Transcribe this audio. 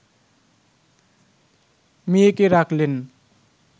মেয়েকে রাখলেন